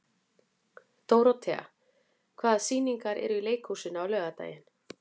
Dórothea, hvaða sýningar eru í leikhúsinu á laugardaginn?